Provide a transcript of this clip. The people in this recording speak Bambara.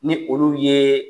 Ni olu yee